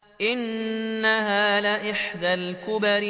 إِنَّهَا لَإِحْدَى الْكُبَرِ